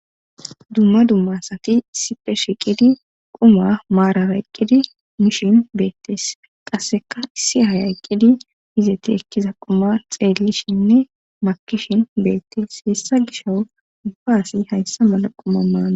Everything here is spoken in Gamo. dumma dumma asati sipe shiqidi quma maarara eqqidi mishin beettes qasseka issi haya eqqidi izeti ekkiza quma xeellishinne makishin beettes hessa gisho ubba asi hayssa mala quma maana